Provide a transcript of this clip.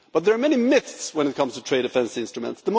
But there are many myths when it comes to trade defence instruments.